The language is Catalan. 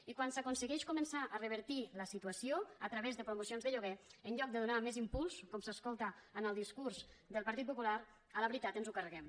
i quan s’aconsegueix començar a revertir la situació a través de promocions de lloguer en lloc de donar més impuls com s’escolta en el discurs del partit popular a la veritat ens ho carreguem